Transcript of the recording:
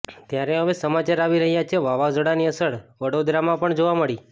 ત્યારે હવે સમાચાર આવી રહ્યા છે વાવાઝોડાની અસર વડોદરામાં પણ જોવા મળી